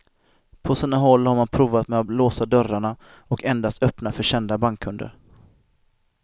På sina håll har man provat med att låsa dörrarna och endast öppna för kända bankkunder.